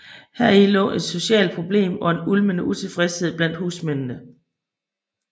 Heri lå en socialt problem og en ulmende utilfredshed blandt husmændene